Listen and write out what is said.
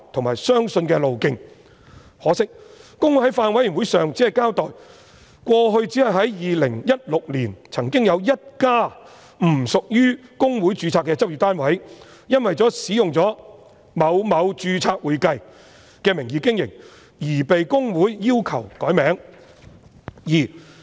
可惜，公會在法案委員會上僅交代，只是在2016年，曾經有一家不屬於公會註冊的執業單位，因為使用了某某註冊會計的名義經營而被公會要求更改名字。